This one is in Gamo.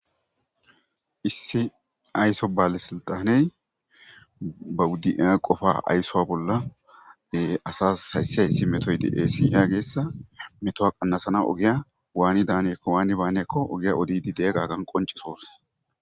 Issi ayso baale siltaney bawuddiia qofa ayssowa bolla asas haysse ha issi metoy de eesiiyageessa metoa qannasana ogiya waani daaneekko waani baanekko ogiya odidi de'e qaagan qoncesoos.